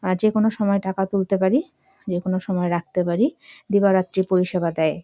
যেকোনো সময়ে টাকা তুলতে পারি রাখতে পারি দিবা রাত্রি পরিষেবা দেয়।